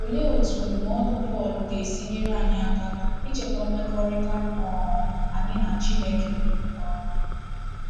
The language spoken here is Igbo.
Olee etu ndụmọdụ Pọl ga-esi nyere anyị aka ichekwa mmekọrịta um anyị na Chineke? um